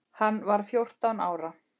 Hann var fjórtán ára.